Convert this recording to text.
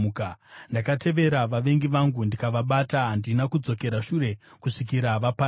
Ndakatevera vavengi vangu ndikavabata; handina kudzokera shure kusvikira vaparadzwa.